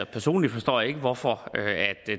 personligt forstår jeg ikke hvorfor